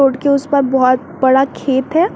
Road के उस पार बहुत बड़ा खेत है।